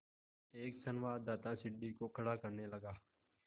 एक संवाददाता सीढ़ी को खड़ा करने लगा